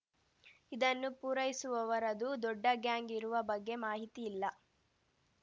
ಇದನ್ನು ಪೂರೈಸುವವರದು ದೊಡ್ಡ ಗ್ಯಾಂಗ್‌ ಇರುವ ಬಗ್ಗೆ ಮಾಹಿತಿ ಇಲ್ಲ